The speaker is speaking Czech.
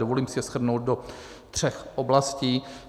Dovolím si je shrnout do tří oblastí.